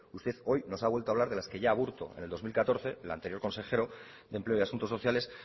usted hoy nos ha vuelto a hablar de las que ya aburto en el dos mil catorce el anterior consejero de empleo y asuntos sociales